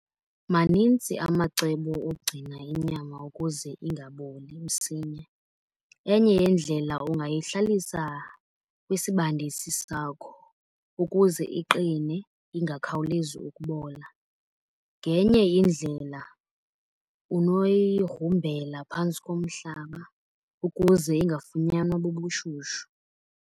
Manintsi amacebo ogcina inyama ukuze ingaboli msinya. Enye yeendlela ungayihlalisa kwisibandisi sakho ukuze iqine ingakhawulezi ukubola. Ngenye indlela unoyigrumbela phantsi komhlaba ukuze ingafunyanwa bubushushu.